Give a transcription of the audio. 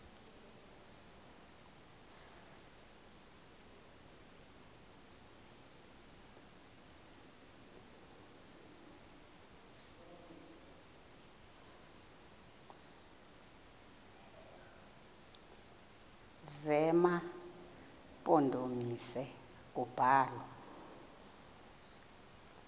zema mpondomise kubalwa